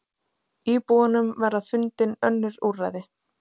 Íbúunum verða fundin önnur úrræði.